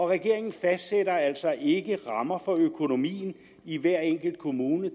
regeringen fastsætter altså ikke rammer for økonomien i hver enkelt kommune